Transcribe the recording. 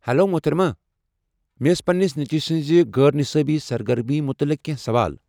Hello, محترمہ، مےٚ ٲس پنٛنس نیٚچِوِ سٕنٛزِ غٲر نِصٲبی سرگرمی متعلق کیٚنٛہہ سوال ۔